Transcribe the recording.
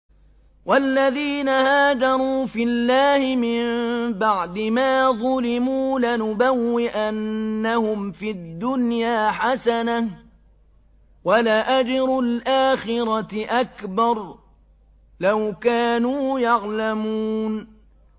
وَالَّذِينَ هَاجَرُوا فِي اللَّهِ مِن بَعْدِ مَا ظُلِمُوا لَنُبَوِّئَنَّهُمْ فِي الدُّنْيَا حَسَنَةً ۖ وَلَأَجْرُ الْآخِرَةِ أَكْبَرُ ۚ لَوْ كَانُوا يَعْلَمُونَ